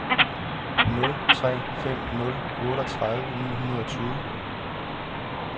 nul tre fem nul otteogtredive ni hundrede og tyve